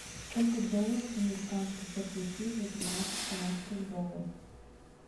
сколько долларов американских я получу за тринадцать канадских долларов